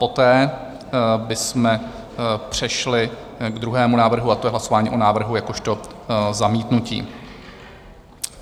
Poté bychom přešli k druhému návrhu, a to je hlasování o návrhu jakožto zamítnutí.